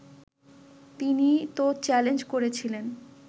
তিনি তো চ্যালেঞ্জ করেছিলেন